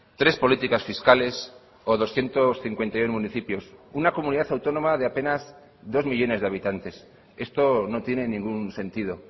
tres políticas fiscaleso doscientos cincuenta y uno municipios una comunidad autónoma de apenas dos millónes de habitantes esto no tiene ningún sentido